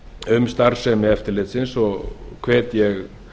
um starfsemi eftirlitsins og hvet ég